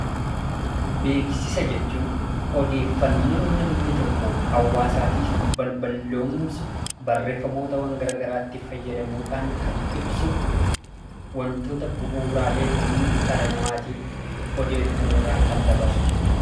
Beeksisa jechuun odeeffannoo namni tokko hawaasaatiif balballoomsu, barreeffamootawwan garaa garaatti fayyadamuudhaan kan ibsu, wantoota bu'uuraalee ta'an dhala namaatiif odeeffannoodhaan kan dabarsu jechuudha.